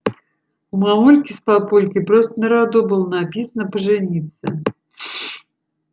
и у мамульки с папулькой просто на роду было написано пожениться